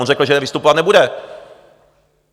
On řekl, že vystupovat nebude.